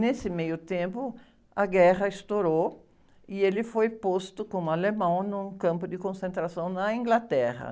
Nesse meio tempo, a guerra estourou e ele foi posto como alemão num campo de concentração na Inglaterra.